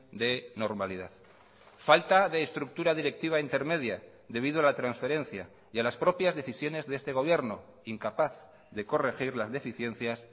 de normalidad falta de estructura directiva intermedia debido a la transferencia y a las propias decisiones de este gobierno incapaz de corregir las deficiencias